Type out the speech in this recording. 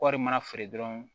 Kɔɔri mana feere dɔrɔn